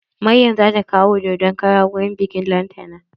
Maryam zata kawo dodon kara wurin biƙin lantana.